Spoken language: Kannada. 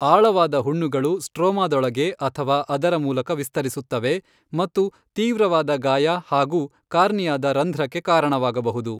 ಆಳವಾದ ಹುಣ್ಣುಗಳು ಸ್ಟ್ರೋಮಾದೊಳಗೆ ಅಥವಾ ಅದರ ಮೂಲಕ ವಿಸ್ತರಿಸುತ್ತವೆ ಮತ್ತು ತೀವ್ರವಾದ ಗಾಯ ಹಾಗೂ ಕಾರ್ನಿಯದ ರಂಧ್ರಕ್ಕೆ ಕಾರಣವಾಗಬಹುದು.